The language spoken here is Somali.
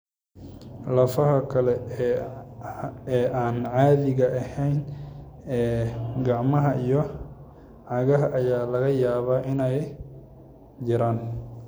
Lafaha kale ee aan caadiga ahayn ee gacmaha iyo cagaha ayaa laga yaabaa inay jiraan.